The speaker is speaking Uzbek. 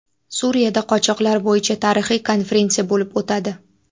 Suriyada qochoqlar bo‘yicha tarixiy konferensiya bo‘lib o‘tadi.